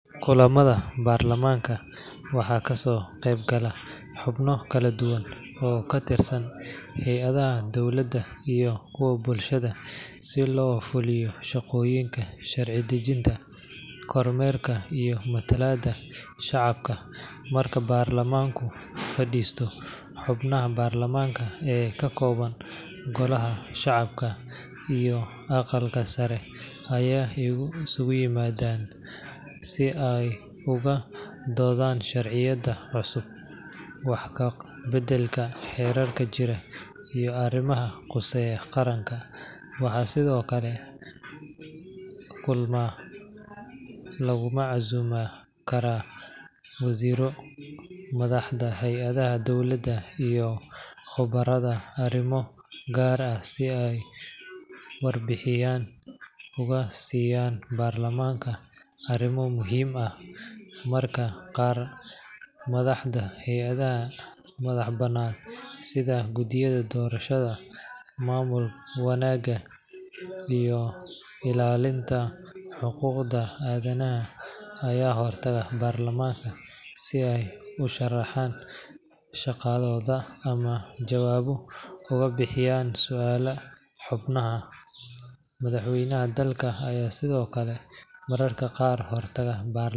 Kulamada baarlamaanka waxaa ka soo qayb gala xubno kala duwan oo ka tirsan hay’adaha dowladda iyo kuwa bulshada si loo fuliyo shaqooyinka sharci dejinta, kormeerka iyo matalaadda shacabka. Marka baarlamaanku fadhiisto, xubnaha baarlamaanka ee ka kooban golaha shacabka iyo aqalka sare ayaa isugu yimaada si ay uga doodaan sharciyada cusub, wax ka beddelka xeerarka jira iyo arrimaha quseeya qaranka. Waxaa sidoo kale kulamadaa lagu casuumi karaa wasiirro, madaxda hay’adaha dowladda, iyo khubarada arrimo gaar ah si ay warbixin uga siiyaan baarlamaanka arrimo muhiim ah. Mararka qaar madaxda hay’adaha madaxa bannaan sida guddiyada doorashada, maamul wanaagga, iyo ilaalinta xuquuqda aadanaha ayaa hortaga baarlamaanka si ay u sharraxaan shaqadooda ama jawaabo uga bixiyaan su’aalaha xubnaha. Madaxweynaha dalka ayaa sidoo kale mararka qaar hortaga.